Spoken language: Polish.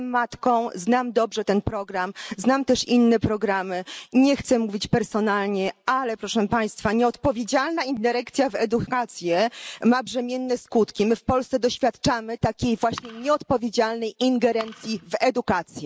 Jestem matką, znam dobrze ten program, znam też inne programy i nie chcę mówić personalnie, ale nieodpowiedzialna ingerencja w edukację ma brzemienne skutki. My w Polsce doświadczamy takiej właśnie nieodpowiedzialnej ingerencji w edukację.